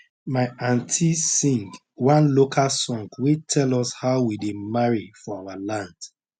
my auntie sing one local song wey tell us how we dey marry for our land